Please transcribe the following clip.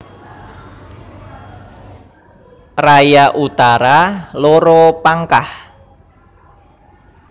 Raya Utara loro Pangkah